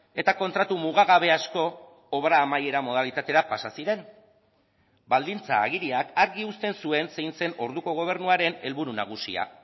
eta kontratu mugagabe asko obra amaiera modalitatera pasa ziren baldintza agiriak argi usten zuen zein zen orduko gobernuaren helburu nagusia